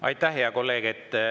Aitäh, hea kolleeg!